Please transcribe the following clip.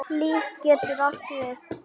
LÍF getur átt við